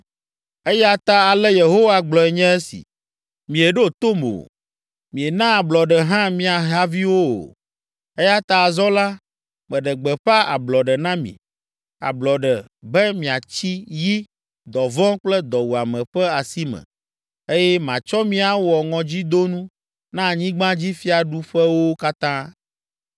“Eya ta ale Yehowa gblɔe nye esi: Mieɖo tom o, miena ablɔɖe hã mia haviwo o. Eya ta azɔ la, meɖe gbeƒã ‘ablɔɖe’ na mi, ‘ablɔɖe’ be miatsi yi, dɔvɔ̃ kple dɔwuame ƒe asi me, eye matsɔ mi awɔ ŋɔdzidonu na anyigbadzifiaɖuƒewo katã.